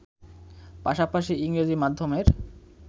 পাশাপাশি ইংরেজি মাধ্যমের